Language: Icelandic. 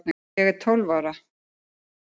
Ég er tólf ára.